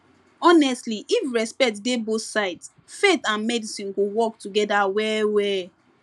honestly if respect dey both sides faith and medicine go work together well well